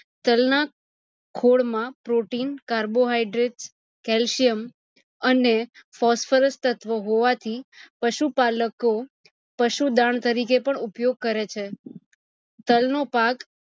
તલ ના ખોળ માં protein carbohydrates calcium અને phosphorus તત્વો હોવા થી પશુ પલકો પશુ દાન તરકે પણ ઉપયોગ કરે છે. તાલ નો પાક